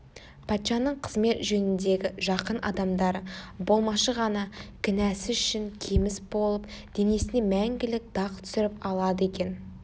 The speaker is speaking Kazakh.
патшаның қызмет жөніндегі жақын адамдары болмашы ғана кінәсі үшін кеміс болып денесіне мәңгілік дақ түсіріп алады екен